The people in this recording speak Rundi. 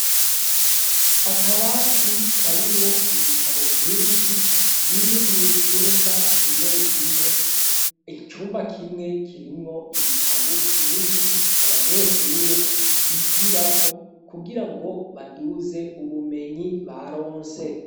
Akabati karimwo ibitabo vyinshi biri mu cumba kimwe kimwe. Icumba kimwe kirimwo ibitabo vyinshi abanyeshure bigirako kugira ngo baduze ubumenyi baronse.